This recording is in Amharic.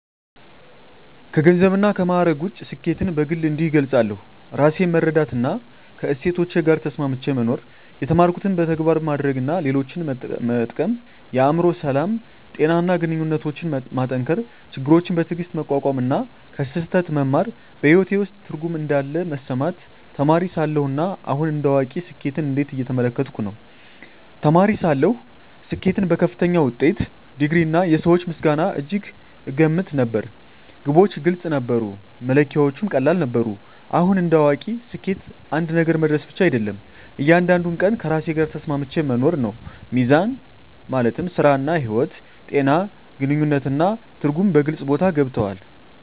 ከገንዘብና ከማዕረግ ውጭ፣ ስኬትን በግል እንዲህ እገልጻለሁ፦ ራሴን መረዳትና ከእሴቶቼ ጋር ተስማምቼ መኖር የተማርኩትን በተግባር ማድረግ እና ሌሎችን መጠቀም የአእምሮ ሰላም፣ ጤና እና ግንኙነቶችን መጠንከር ችግሮችን በትዕግስት መቋቋም እና ከስህተት መማር በሕይወቴ ውስጥ ትርጉም እንዳለ መሰማቴ ተማሪ ሳለሁ እና አሁን እንደ አዋቂ ስኬትን እንዴት እየተመለከትኩ ነው? ተማሪ ሳለሁ ስኬትን በከፍተኛ ውጤት፣ ዲግሪ፣ እና የሰዎች ምስጋና እጅግ እገመት ነበር። ግቦች ግልጽ ነበሩ፣ መለኪያዎቹም ቀላል ነበሩ። አሁን እንደ አዋቂ ስኬት አንድ ነገር መድረስ ብቻ አይደለም፤ እያንዳንዱን ቀን ከራሴ ጋር ተስማምቼ መኖር ነው። ሚዛን (ሥራ–ሕይወት)፣ ጤና፣ ግንኙነት እና ትርጉም በግልጽ ቦታ ገብተዋል።